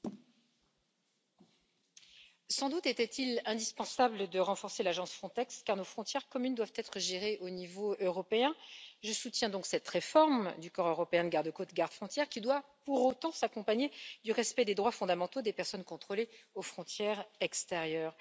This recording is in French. Monsieur le Président, sans doute était il indispensable de renforcer l'agence Frontex, car nos frontières communes doivent être gérées au niveau européen. Je soutiens donc cette réforme du corps européen de garde frontières et de garde côtes, qui doit pour autant s'accompagner du respect des droits fondamentaux des personnes contrôlées aux frontières extérieures.